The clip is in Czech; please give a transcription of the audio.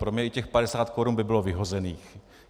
Pro mě i těch 50 korun by bylo vyhozených.